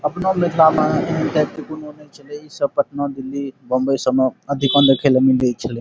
अपना मिथला में सब पटना दिल्ली बॉम्बे सब में अधिका में खेले में गेई छीलो।